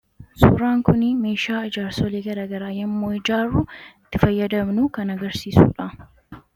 Meeshaan kun meeshaa ijaarsolii garaagaraa yommuu ijaarru itti fayyadamnu kan agarsiisudha.